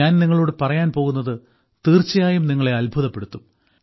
ഞാൻ നിങ്ങളോട് പറയാൻ പോകുന്നത് തീർച്ചയായും നിങ്ങളെ അത്ഭുതപ്പെടുത്തും